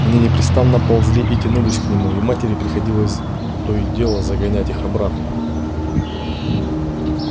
они непрестанно ползли и тянулись к нему и матери приходилось то и дело загонять их обратно